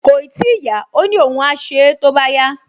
Kòì tíì yá, ó ní òun á ṣe é tó bá yá